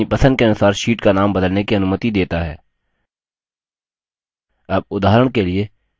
calc हमें अपनी पसंद के अनुसार sheets का नाम बदलने की अनुमति देता है